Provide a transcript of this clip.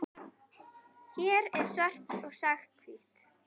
Hér er svart sagt hvítt.